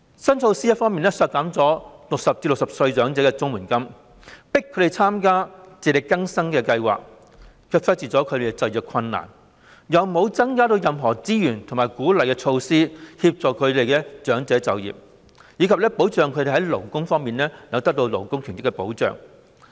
新措施一方面削減了60歲至64歲長者的綜援金，迫使他們參加"自力更生計劃"；另一方面，卻忽視了他們的就業困難，沒有增加任何資源和推出鼓勵措施以協助長者就業，並確保他們在勞工權益上受到保障。